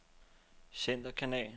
centerkanal